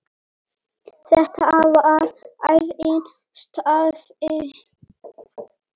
Þetta var ærinn starfi.